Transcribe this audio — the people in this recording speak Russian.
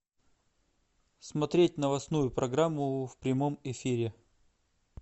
смотреть новостную программу в прямом эфире